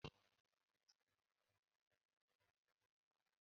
A ga-ama nka ndi Warsaw na gburugburu ụwa.